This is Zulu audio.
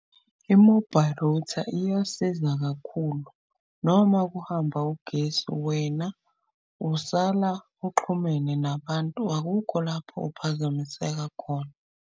I-mobile router iyasiza kakhulu noma kuhamba ugesi. Wena usala uxhumene nabantu, akukho lapho uphazamiseka khona.